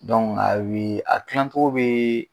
a ye a tilacogo bɛ